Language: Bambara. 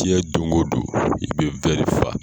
Tiɲɛ don o don i bɛ fa